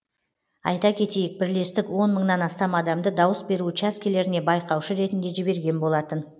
айта кетейік бірлестік он мыңнан астам адамды дауыс беру учаскелеріне байқаушы ретінде жіберген болатын